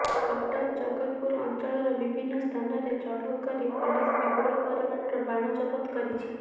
କଟକ ଜଗତପୁର ଅଞ୍ଚଳର ବିଭିନ୍ନ ସ୍ଥାନରେ ଚଢଉ କରି ପୁଲିସ୍ ବିପୁଳ ପରିମାଣର ବାଣ ଜବତ କରିଛି